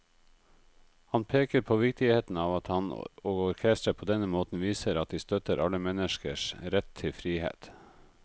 Han peker på viktigheten av at han og orkesteret på denne måten viser at de støtter alle menneskers rett til frihet.